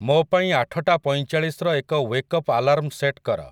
ମୋ ପାଇଁ ଆଠଟା ପଇଁଚାଳିଶର ଏକ ୱେକ୍ଅପ୍ ଆଲାର୍ମ ସେଟ୍ କର ।